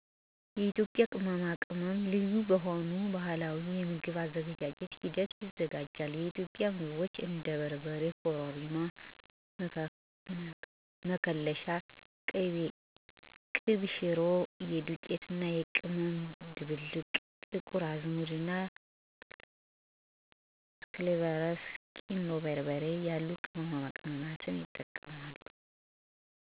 የኢትዮጵያ ቅመማ ቅመሞች ልዩ በሆኑ ባህላዊ የምግብ አዘገጃጀት ሂደት ይዘጋጃል። የኢትዮጵያ ምግቦች እንደ በርበሬ፣ ኮረሪማ፣ መከለሻ፣ ቅቤ ሽሮ (የዱቄት እና ቅመም ድብልቅ)፣ ጥቁር አዝሙድ፣ እና ክሎቭስ፣ ቁንዶ በርበሬ ያሉ ቅመሞችን ይጠቀሳሉ። እነዚን ቅመሞች ለማዘጋጀት ባህላዊ መንገድ ማለትም ተፈጥሮአዊ የሆኑ እና ጤናን የሚጎዱ ንጥረ ነገሮችን ባለመጠቀሙ ተመራጭ ያደርጋቸዋል። እነዚህ በተለያዩ ምግቦች ውስጥ ለ ምግብ ማጣፈጫነት፣ እንደ መከለሻ እና ለሌሎች ጥቅሞችም ይውላሉ።